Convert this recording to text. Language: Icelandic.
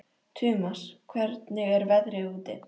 Tumas, hvernig er veðrið úti?